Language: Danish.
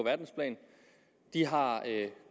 de har